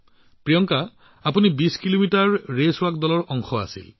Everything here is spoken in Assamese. প্ৰিয়ংকা আপুনি ২০ কিলোমিটাৰ খোজকঢ়া টিমৰ অংশ আছিল